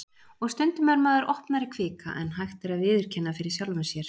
Og stundum er maður opnari kvika en hægt er að viðurkenna fyrir sjálfum sér.